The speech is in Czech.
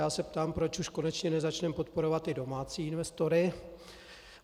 Já se ptám, proč už konečně nezačneme podporovat ty domácí investory.